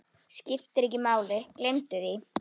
Skiptir ekki máli, gleymdu því.